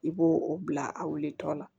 I b'o o bila a wulitɔ la